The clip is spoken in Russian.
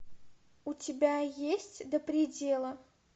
у тебя есть до предела